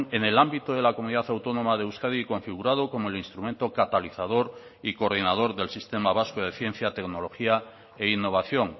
en el ámbito de la comunidad autónoma de euskadi configurado como el instrumento catalizador y coordinador del sistema vasco de ciencia tecnología e innovación